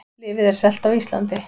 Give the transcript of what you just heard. Lyfið er selt á Íslandi